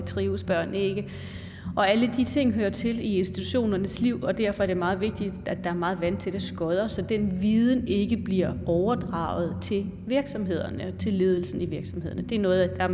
trives børnene ikke alle de ting hører til i institutionernes liv og derfor er det meget vigtigt at der er meget vandtætte skodder så den viden ikke bliver overdraget til virksomhederne til ledelsen i virksomhederne det er noget der er